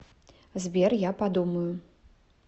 сбер я подумаю